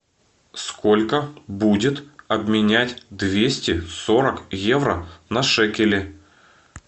сколько будет обменять двести сорок евро на шекели